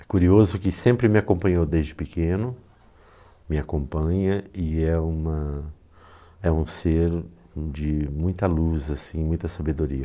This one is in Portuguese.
É curioso que sempre me acompanhou desde pequeno, me acompanha e é uma um ser de muita luz assim, muita sabedoria.